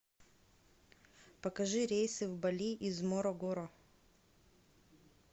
покажи рейсы в балли из морогоро